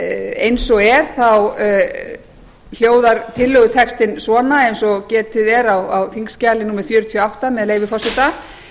eins og er hljóðar tillögutextinn svona eins og getið er á þingskjali númer fjörutíu og átta með leyfi forseta